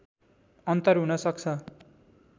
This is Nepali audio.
अन्तर हुन सक्छ